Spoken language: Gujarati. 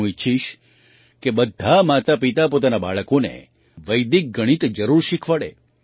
હું ઈચ્છીશ કે બધાં માતાપિતા પોતાનાં બાળકોને વૈદિક ગણિત જરૂર શીખવાડે